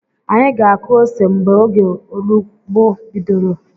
Anyi ga-akụ ose mgbe oge ọrụugbo bidoro